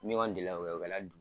Ɲɔgɔn deli la wa o kɛrɛ